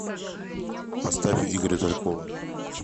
поставь игоря талькова